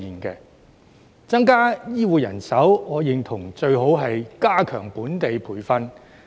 要增加醫護人手，我認同最好是加強本地培訓。